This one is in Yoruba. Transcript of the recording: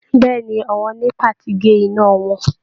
Bẹ́ẹ ni, àwọn NEPA ti gé iná wọn